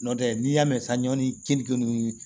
Nɔntɛ n'i y'a mɛn san ɲɔn ni keninke ni